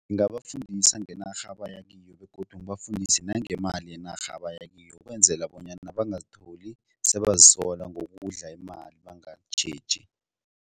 Ngingabafundisa ngenarha abaya kiyo begodu ngibafundise nangemali yenarha abaya kiyo ukwenzela bonyana bangazitholi sebazisola ngokudla imali bangatjheji.